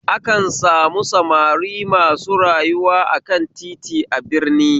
Akan samu samari masu rayuwa akan titi a birni